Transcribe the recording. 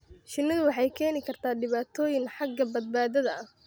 Shinnidu waxay keeni kartaa dhibaatooyin xagga badbaadada ah.